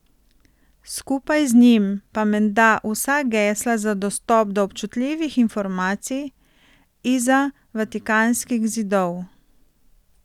Skupaj z njim pa menda vsa gesla za dostop do občutljivih informacij izza vatikanskih zidov.